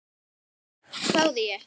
hváði ég.